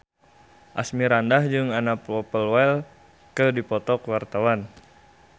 Asmirandah jeung Anna Popplewell keur dipoto ku wartawan